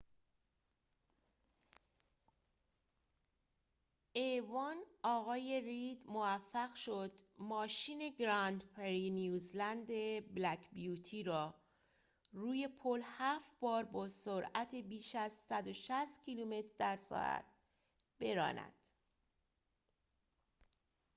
آقای رید موفق شد ماشین a۱ گراندپری نیوزلند بلک بیوتی را روی پل هفت بار با سرعت بیش از ۱۶۰ کیلومتر در ساعت براند